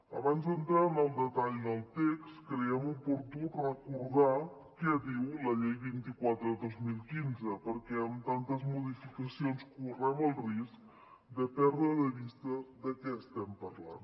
abans d’entrar en el detall del text creiem oportú recordar què diu la llei vint quatre dos mil quinze perquè amb tantes modificacions correm el risc de perdre de vista de què estem parlant